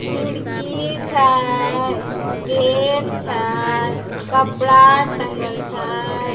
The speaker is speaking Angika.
खिड़की छे गेट छे कपड़ा टँगल छ।